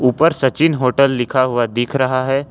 ऊपर सचिन होटल लिखा हुआ दिख रहा है।